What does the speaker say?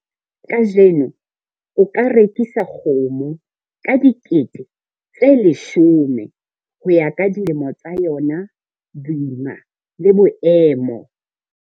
Kajeno o ka rekisa kgomo ka R10000 ho ya ka dilemo tsa yona, boima le boemo.